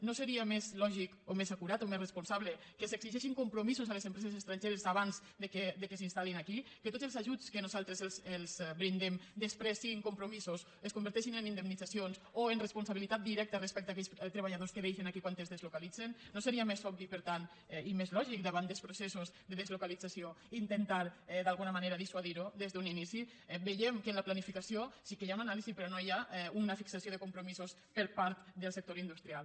no seria més lògic o més acurat o més responsable que s’exigeixin compromisos a les empreses estrangeres abans que s’instal·lin aquí que tots els ajuts que nosaltres els brindem després siguin compromisos es converteixin en indemnitzacions o en responsabilitat directa respecte a aquells treballadors que deixen aquí quan es deslocalitzen no seria més obvi per tant i més lògic davant dels processos de deslocalització intentar d’alguna manera dissuadir ho des d’un inici veiem que en la pla nificació sí que hi ha una anàlisi però no hi ha una fixació de compromisos per part del sector industrial